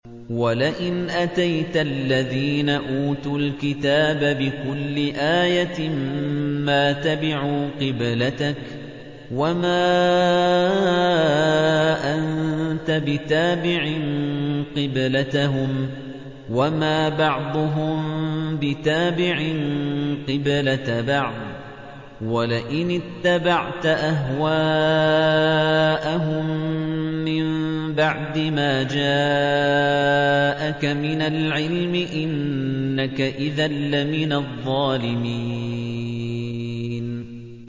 وَلَئِنْ أَتَيْتَ الَّذِينَ أُوتُوا الْكِتَابَ بِكُلِّ آيَةٍ مَّا تَبِعُوا قِبْلَتَكَ ۚ وَمَا أَنتَ بِتَابِعٍ قِبْلَتَهُمْ ۚ وَمَا بَعْضُهُم بِتَابِعٍ قِبْلَةَ بَعْضٍ ۚ وَلَئِنِ اتَّبَعْتَ أَهْوَاءَهُم مِّن بَعْدِ مَا جَاءَكَ مِنَ الْعِلْمِ ۙ إِنَّكَ إِذًا لَّمِنَ الظَّالِمِينَ